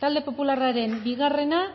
talde popularraren bigarrena